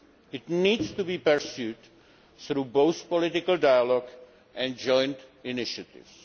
It needs to be pursued through both political dialogue and joint initiatives.